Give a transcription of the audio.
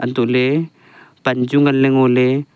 antoley pan chu ngan ley ngo ley.